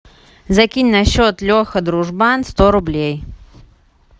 закинь на счет леха дружбан сто рублей